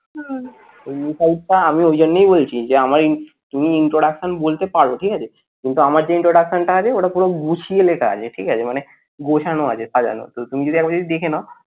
ওই miss out আমি ওই জন্যই বলছি যে আমার আমার তুমি introduction বলতে পারো ঠিক আছে কিন্তু আমার যেই introduction টা আছে ওটা পুরো গুছিয় লেখা আছে ঠিক আছে মানে গোছানো আছে সাজানো তুমি যদি একবার যদি দেখে নাও,